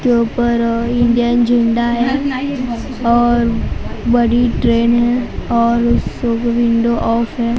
यहां पर अ इंडियन झंडा है और बड़ी ट्रेन है और सब विंडो ऑफ है।